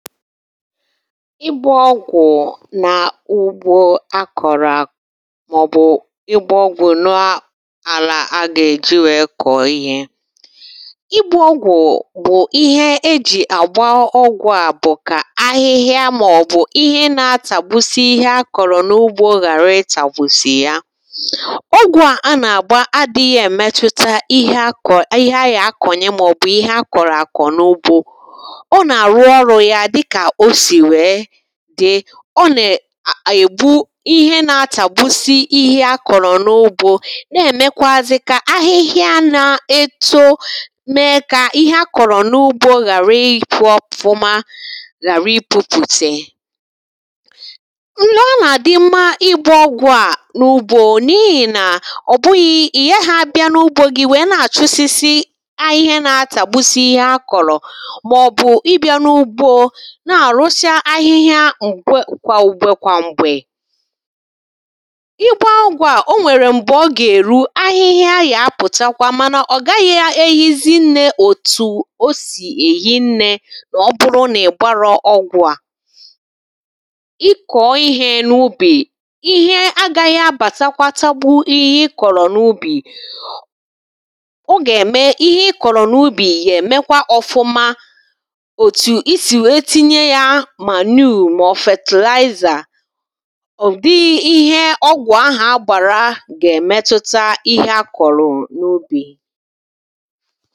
ịgbȧ ọgwụ̀ na ugbȯ akọ̀rọ̀ màọbụ̀ ịgbȧ ọgwụ̀ nọàlà agà-èji wèe kọ̀ọ ihe ịgbȧ ọgwụ̀ bụ̀ ihe e jì àgba ọgwụ̀ à bụ̀ kà ahịhịa màọbụ̀ ihe na-atàgbusi ihe akọ̀rọ̀ n’ugbȯ ghàra itàgbusì ya ọgwụ̀ a nà-àgba adị̇ghị̇ èmetuta ihe ahịa akọ̀nyė màọbụ̀ ihe akọ̀rọ̀ àkọ̀ n’ugbȯ dị̇ kà o sì wèe dị̀ ọ nà-ègbu ihe nȧ-ȧtà gbusi ihe akọ̀rọ̀ n’ugbȯ na-èmekwazị kà ahịhịa nà-ẹtụ mee kà ihe akọ̀rọ̀ n’ugbȯ ghàra ịpụ̇ ọpụ̀ma ghàra ịpụ̇pụ̀tè nọ à nà-àdị mma igbȧ ọgwụ̀ a n’ugbȯ n’ihì nà ọ̀ bụ̀ghị̀ ị̀ gaghị̇ abịa n’ugbȯ gị̀ wèe nà-àchụsịsị ahịhịa nà-atà gbusi ihe akọ̀rọ̀ nà-àrụsịa ahịhịa kwà ugbe kwà mgbè ịgbaa ọgwụ̀ a o nwèrè m̀gbè ọ gà-èru ahịhịa yà-apụ̀takwa mana ọ gaghị̇ ehizi nne òtù o sì èhine n’ọbụrụ nà-ìgbara ọgwụ̀ à ịkọ̀ọ ihe n’ubì ihe agaghị̇ abàtakwa tàgbuo ihe ị kọ̀rọ̀ n’ubì ọ gà-ème ihe ị kọ̀rọ̀ n’ubì gà-èmekwa ọfụma màọ̀fètị̀làịzà ọ̀dị́ ihe ọgwụ̀ ahà gbàrà gà-èmètụ́tà ihe àkọ̀rọ̀ n’ ubì